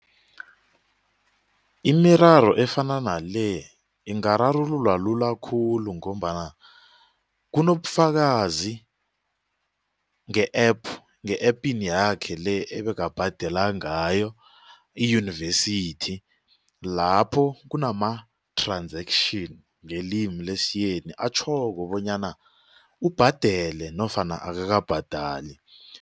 Imiraro efana nale ingararululwa lula khulu ngombana kunobufakazi nge-APP nge-apini yakhe le ebekabhadela ngayo iyunivesithi lapho kunama-transaction ngelimi lesiyeni atjhoko bonyana ubhadele nofana akabhadali.